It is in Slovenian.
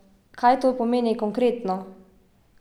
Kaj to pomeni konkretno?